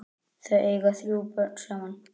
Þau eiga þrjú börn saman.